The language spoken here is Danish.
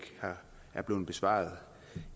blevet besvaret